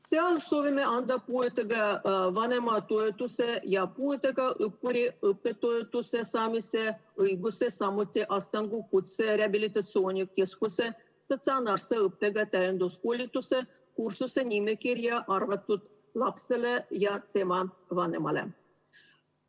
Seal soovime anda puudega vanema toetuse ja puudega õppuri õppetoetuse saamise õiguse samuti Astangu Kutserehabilitatsiooni Keskuse statsionaarse õppega täienduskoolituse kursuse nimekirja arvatud lapsele ja tema vanemale.